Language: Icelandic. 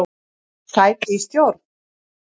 Sæti í stjórn?